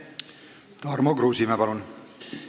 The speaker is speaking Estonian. Tarmo Kruusimäe, palun!